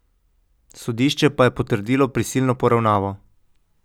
Sodišče pa je potrdilo prisilno poravnavo.